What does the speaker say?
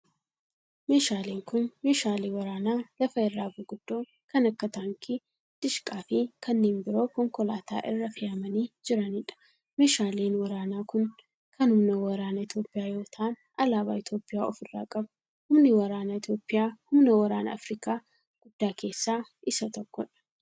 Meeshaaleen kun, meeshaalee waraanaa lafa irraa guguddoo kan akka taankii, dishqaa fi kanneen biroo konkolaataa irra fe'amanii jiranii dha. Meeshaaleen waraanaa kun kan humna waraanaa Itoophiyaa yoo ta'an, alaabaa Itoophiyaa of irraa qabu. Humni waraanaa Itoophiyaa, humna waraanaa Afriikaa guddaa keessaa isa tokko dha.